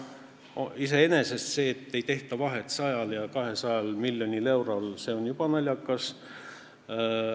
Iseenesest on juba see, et ei tehta vahet 100 ja 200 miljonil eurol, naljakas.